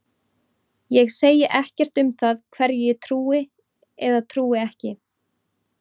Ég segi ekkert um það hverju ég trúi eða trúi ekki.